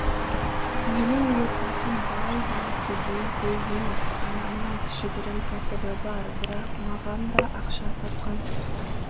менің отбасым бай да кедей де емес анамның кішігірім кәсібі бар бірақ маған да ақша тапқан